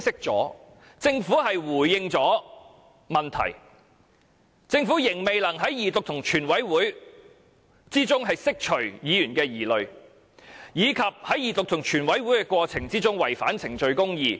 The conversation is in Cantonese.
政府雖回應了問題，但仍未能在二讀及全體委員會審議過程中釋除議員的疑慮，而且更在二讀及全體委員會審議過程中違反公義。